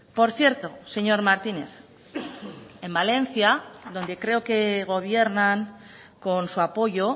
por cierto señor martínez en valencia donde creo que gobiernan con su apoyo